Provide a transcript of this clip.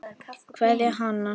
Kveðja, Hanna.